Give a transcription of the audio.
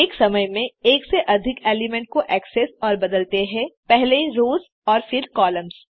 एक समय में एक से अधिक एलिमेंट को एक्सेस और बदलते हैं पहले रोस और फिर कॉलम्स